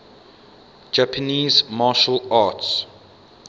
japanese martial arts